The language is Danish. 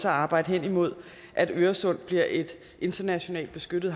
arbejde henimod at øresund bliver et internationalt beskyttet